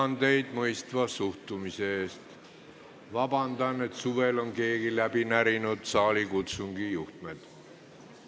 Austatud Riigikogu, palun vabandust, et suvel on keegi läbi närinud saalikutsungi juhtmed!